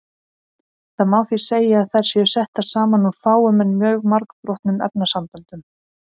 Það má því segja að þær séu settar saman úr fáum en mjög margbrotnum efnasamböndum.